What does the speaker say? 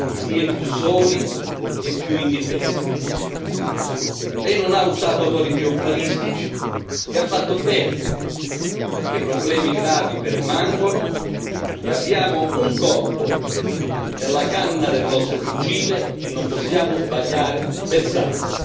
si è più soli e più indifesi. Lei non ha usato toni trionfalistici e ha fatto bene, perché permangono problemi gravi e abbiamo un colpo nella canna del nostro fucile e non possiamo sbagliare bersaglio.